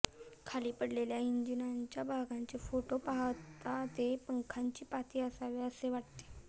खाली पडलेल्या इंजिनाच्या भागाचे फोटो पाहता ते पंखांची पाती असावे असे वाटते